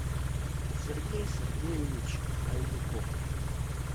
сергей сергеевич хайдуков